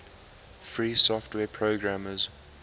free software programmers